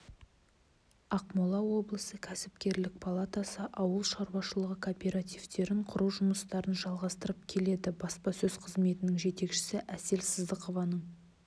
ақмола облысы кәсіпкерлік палатасы ауыл шаруашылығы кооперативтерін құру жұмыстарын жалғастырып келеді баспасөз қызметінің жетекшісі әсел сыздықованың